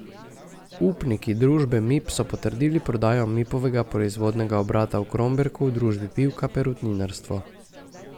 Upniki družbe Mip so potrdili prodajo Mipovega proizvodnega obrata v Kromberku družbi Pivka perutninarstvo.